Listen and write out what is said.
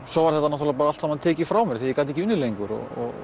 svo var þetta allt saman tekið frá mér þegar ég gat ekki unnið lengur